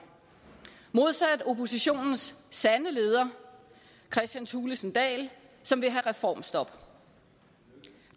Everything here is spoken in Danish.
modsat oppositionens sande leder kristian thulesen dahl som vil have reformstop